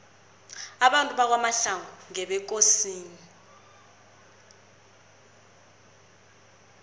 abantu bakwamahlangu ngebekosini